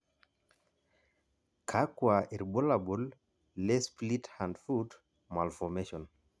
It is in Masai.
kakua irbulabol le Split hand foot malformation?